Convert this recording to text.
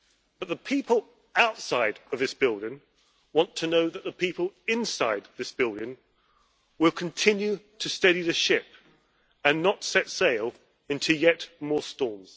But the people outside of this building want to know that the people inside this building will continue to steady the ship and not set sail into yet more storms.